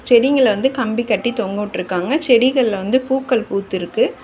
செடிகங்கள வந்து கம்பி கட்டி தொங்கவுட்ருக்காங்க செடிகள்ல வந்து பூக்கள் பூத்திருக்கு.